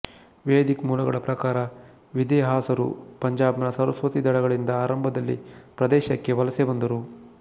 Vedic ಮೂಲಗಳ ಪ್ರಕಾರ ವಿದೆಹಾಸರು ಪಂಜಾಬ್ನ ಸರಸ್ವತಿ ದಡಗಳಿಂದ ಆರಂಭದಲ್ಲಿ ಪ್ರದೇಶಕ್ಕೆ ವಲಸೆ ಬಂದರು